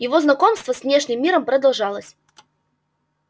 его знакомство с внешним миром продолжалось